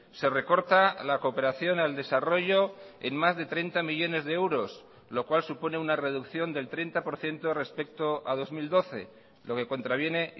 se recorta la cooperación al desarrollo en más de treinta millónes de euros lo cual supone una reducción del treinta por ciento respecto a dos mil doce lo que contraviene